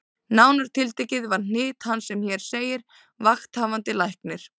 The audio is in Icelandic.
Nánar tiltekið eru hnit hans sem hér segir: Vakthafandi Læknir